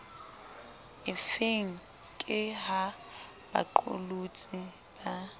efeng ke ha baqolotsi ba